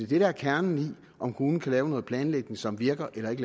det der er kernen i om kommunen kan lave noget planlægning som virker eller ikke